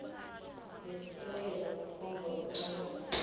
nesitayela kukhomba kucabanga